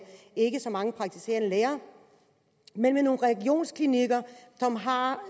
ikke så mange praktiserende læger men med nogle regionsklinikker som har